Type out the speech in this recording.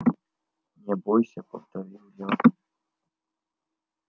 не бойся повторил я